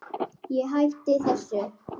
Ég hætti þessu.